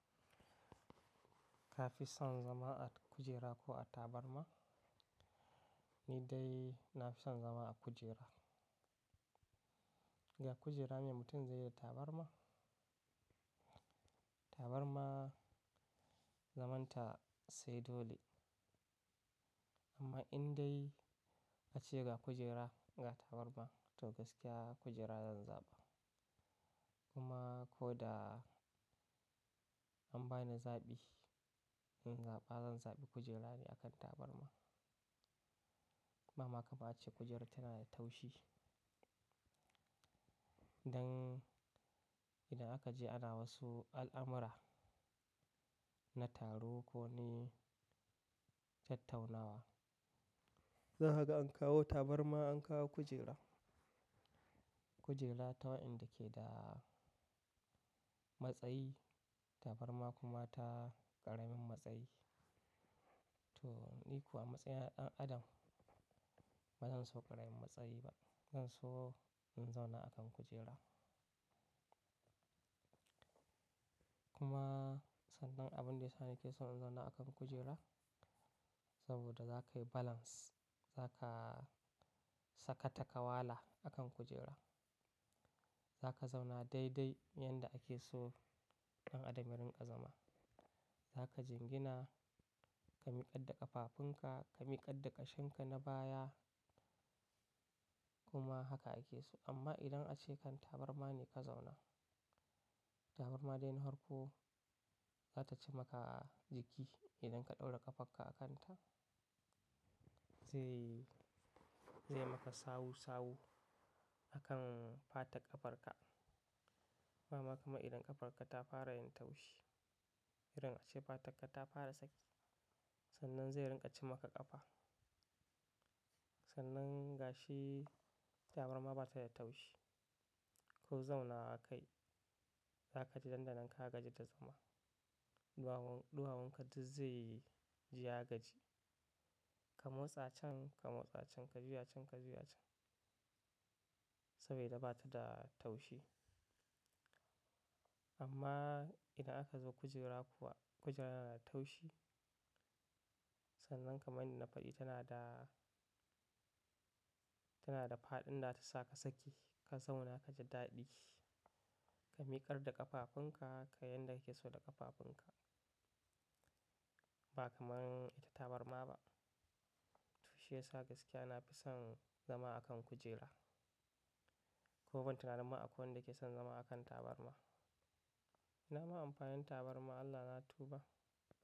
Ka fi son zama a kujera ko a tabarma? Ni dai na fi son zama a kujera. Ga kujera me mutum zai yi da tabarma. Tabarma zamanta sai dole. Amma in dai a ce ga kujera, ga tabarma to gaskiya kujera zan zaɓa. Kuma ko da an bani zaɓi in zaɓa zan zaɓi kujerani akan tabarma. Ba ma kama ace kujerar tana da taushi. Dan idan aka je ana wasu al'amura na taro ko ne tattaunawa. Za ka ga an kawo tabarma an kawo kujera. Kujera tawa enda ke da matsayi tabarma kuma ta ƙaramin matsayi. To ni kuwa a matsayina na ɗan adam ba zan so ƙaramin matsayi ba. Zan so in zauna a kan kujera. Kuma sannan abin da ya sani ke so in zauna a kan kujera saboda za ka yi balance. Za ka saka ta kawala a kan kujera. Za ka zauna dai dai yanda kake so ɗan adam yarin ƙa zama. Za ka jingina ka miƙar da ƙafafunka, ka miƙad da ƙashinka na baya kuma haka ake so. Amma idan ace kan tabarma ne ka zauna, tabarma dai na farko za ta ci maka jiki idan ka ɗaura ƙafarka a kanta. Zai, zai maka sawu sawu a kan fatar ƙafarka. Ba ma kuma idan ƙafarka ta fara yin taushi. Idan ace fatakka ta fara saki sannan zai rinƙa ci maka ƙafa. Sannan gashi tabarma bata da taushi. Ku zauna akai za kaji dandanan ka gaji da zama. Ɗuwawun, ɗuwawun ka duk zai yi jiya gaji. Ka motsa can, ka motsa can, ka juya can, ka juya can saboda bata da taushi. Amma idan aka zo kujera kuwa kujera tana da taushi. Sannan kamar yanda na faɗi tana da, tana da fa'ɗin da ta sa ka saki ka zauna kaji daɗi. Ka miƙar da ƙafafunka ka yanda kake so da ƙafafunka. Ba kamar ita tabarma ba. To shi ya sa gaskiya na fi son zama a kan kujera. Ko ban tunani ba akwai wanda ke son zama a kan tabarma. Ina ma amfanin tabarma Allah na tuba.